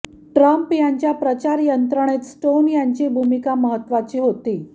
Trump यांच्या प्रचार यंत्रणेत स्टोन यांची भूमिका महत्त्वाची होती